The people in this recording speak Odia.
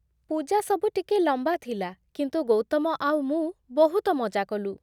ପୂଜାସବୁ ଟିକେ ଲମ୍ବା ଥିଲା, କିନ୍ତୁ ଗୌତମ ଆଉ ମୁଁ ବହୁତ ମଜା କଲୁ ।